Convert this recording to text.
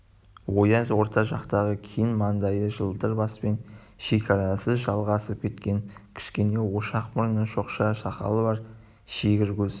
ояз орта жастағы кең маңдайы жалтыр баспен шекарасыз жалғасып кеткен кішкене орақ мұрны шоқша сақалы бар шегір көз